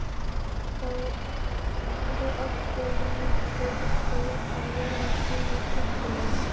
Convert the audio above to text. Þá átti Lýtingur til að vera reglulega skemmtilegur.